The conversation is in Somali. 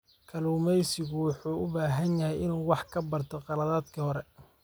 Kalluumeysigu wuxuu u baahan yahay inuu wax ka barto khaladaadkii hore.